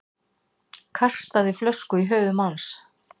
Kastaði flösku í höfuð manns